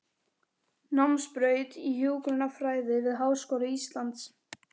Námsbraut í hjúkrunarfræði við Háskóla Íslands.